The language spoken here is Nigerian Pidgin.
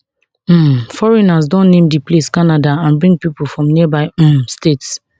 um foreigners don name di place canada and bring pipo from nearby um states